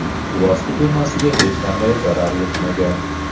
Suvosti kemasiga hech qanday zarar yetmagan.